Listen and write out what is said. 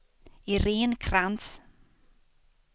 Irene Krantz